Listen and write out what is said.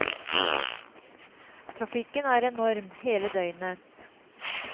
Trafikken er enorm, hele døgnet.